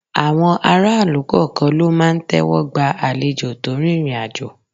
Àwọn aráàlú kọ̀ọ̀kan ló máa ń tẹ́wọ́ gba àlejò tó rìnrìn àjò.